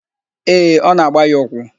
Ee, ọ na-agba ya ụkwụ.